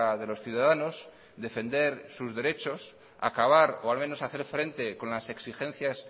de los ciudadanos defender sus derechos acabar o al menos hacer frente con las exigencias